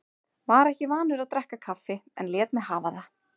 Var ekki vanur að drekka kaffi en lét mig hafa það.